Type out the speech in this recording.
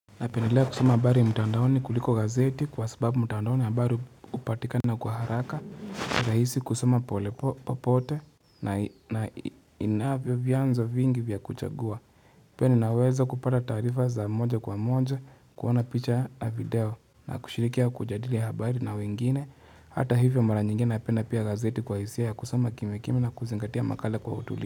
Na pendelea kusoma habari mtandaoni kuliko gazeti kwa sababu mtandaoni habari upatikana kwa haraka raisi kusoma pole popote na inavyo vyanzo vingi vya kuchagua Pia ninaweza kupata taarifa za moja kwa moja kuona picha ya video na kushirikia kujadili habari na wengine hata hivyo mara nyingine napenda pia gazeti kwa hisia kusoma kimya kimya na kuzingatia makala kwa utulivu.